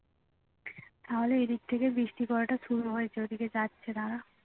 তাহলে এদিক থেকে বৃষ্টি পড়াটা শুরু হয়েছে ওদিকে যাচ্ছে দাঁড়া